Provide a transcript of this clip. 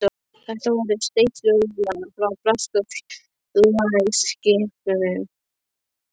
Þetta voru steypiflugvélar frá breska flugvélaskipinu